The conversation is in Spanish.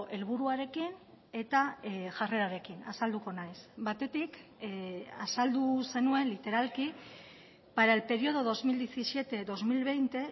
helburuarekin eta jarrerarekin azalduko naiz batetik azaldu zenuen literalki para el periodo dos mil diecisiete dos mil veinte